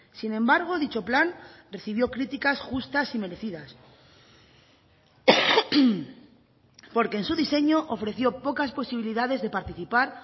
sin embargo dicho plan recibió críticas justas y merecidas porque en su diseño ofreció pocas posibilidades de participar